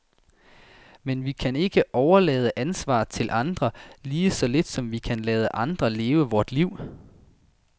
Men vi kan ikke overlade ansvaret til andre, lige så lidt som vi kan lade andre leve vort liv.